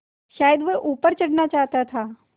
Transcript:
शायद वह ऊपर चढ़ना चाहता था